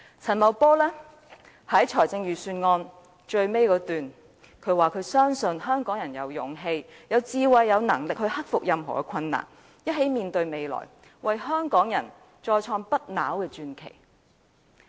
陳茂波在預算案最後一段提到，他深信香港人有勇氣、智慧和能力去克服任何困難，一起面向未來，為香港再創不朽傳奇。